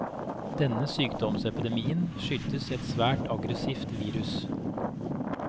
Denne sykdomsepidemien skyldtes et svært aggressivt virus.